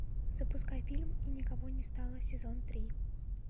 запускай фильм и никого не стало сезон три